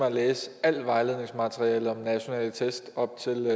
at læse alt vejledningsmateriale om nationale test op til